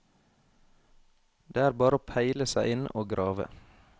Det er bare å peile seg inn og grave.